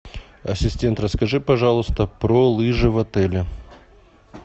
ассистент расскажи пожалуйста про лыжи в отеле